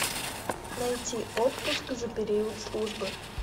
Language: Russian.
найти отпуск за период службы